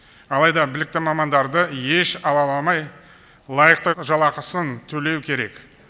алайда білікті мамандарды еш алаламай лайықты жалақысын төлеу керек